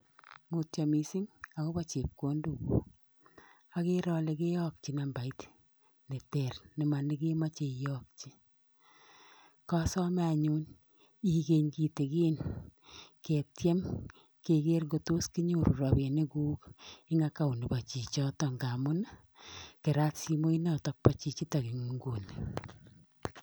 Mutyo mising akobo chepkondok, agere ale keyokji nambait ne ter ne manikimache iyokji, kasome anyun ikany kitigen ketyem keger ngotos kinyoru robinikuk eng account nebo chichoto ngamun kerat simoinoto bo chichitok eng nguni.